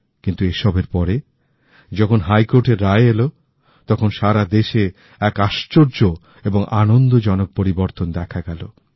কিন্তু এসবের পরে যখন হাইকোর্টের রায় এলো তখন সারাদেশে এক আশ্চর্য এবং আনন্দজনক পরিবর্তন দেখা গেল